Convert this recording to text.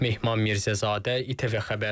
Mehmet Mirzəzadə, İTV xəbər.